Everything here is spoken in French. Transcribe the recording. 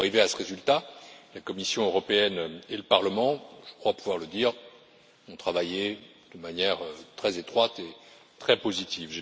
Pour arriver à ce résultat, la Commission européenne et le Parlement je crois pouvoir le dire ont travaillé de manière très étroite et très positive.